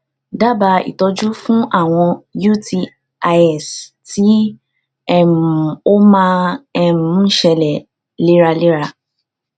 dábàá ìtọjú fún àwọn utis tí um ó um máa um ń ṣẹlẹ léraléra